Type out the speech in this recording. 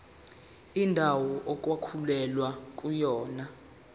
indawo okwakulwelwa kuyona